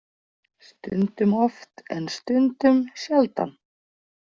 Stundum oft en stundum sjaldan.